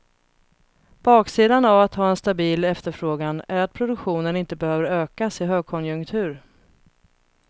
Baksidan av att ha en stabil efterfrågan är att produktionen inte behöver ökas i högkonjunktur.